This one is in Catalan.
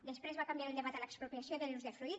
després va canviar el debat a l’expropiació de l’usdefruit